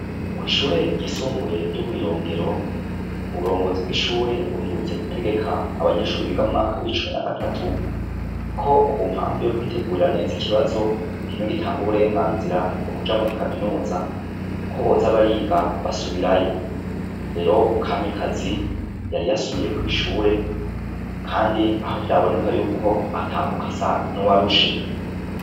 kw'ishure ryisumbuye ryo mw'irongero; uburongozi bw'ishure buherutse gutegeka abanyeshure biga mumwaka w'icumi na gatatu ko kumpamvu yo kwitegurira neza ikibazo kimwe gitanga uburenganzira bwo kuja muri kaminuza ko boza bariga basubirayo. Rero kamikazi yari yasubiye kw'ishure kandi aho vyaboneka yuko atambuka asa n'uwarushe.